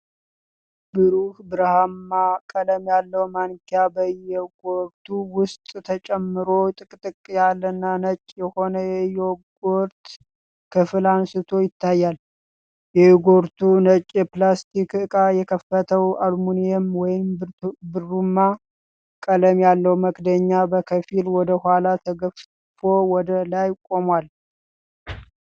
ብሩህ ብርማ ቀለም ያለው ማንኪያ በዮጎርቱ ውስጥ ተጨምሮ ጥቅጥቅ ያለና ነጭ የሆነ የዮጎርት ክፍል አንስቶ ይታያል። የዮጎርቱ ነጭ የፕላስቲክ ዕቃ የከፈተው አሉሚኒየም ወይም ብርማ ቀለም ያለው መክደኛ በከፊል ወደኋላ ተገፎ ወደ ላይ ቆሟል።